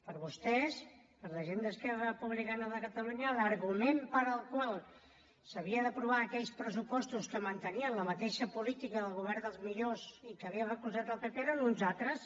per a vostès per a la gent d’esquerra republicana de catalunya l’argument pel qual s’havien d’aprovar aquells pressupostos que mantenien la mateixa política del govern dels millors i que havia recolzat el pp eren uns altres